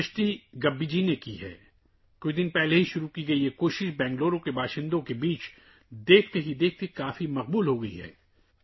یہ کوشش، جو ابھی کچھ دن پہلے شروع ہوئی تھی، بنگلورو کے لوگوں میں بہت تیزی سے مقبول ہو گئی ہے